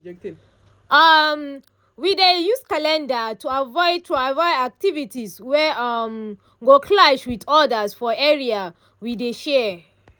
um i dey use calendar to avoid to avoid activities wey um go clash with others for area we dey share